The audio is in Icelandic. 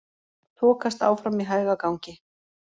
Þokast áfram í hægagangi